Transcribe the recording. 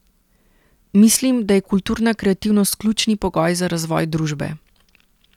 Mislim, da je kulturna kreativnost ključni pogoj za razvoj družbe.